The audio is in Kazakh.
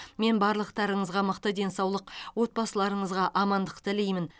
мен барлықтарыңызға мықты денсаулық отбасыларыңызға амандық тілеймін